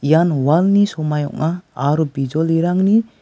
ian walni somai ong·a bijolirangni--